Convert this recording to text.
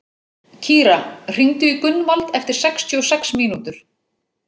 Kíra, hringdu í Gunnvald eftir sextíu og sex mínútur.